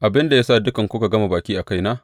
Abin da ya sa dukanku kuka gama baki a kaina?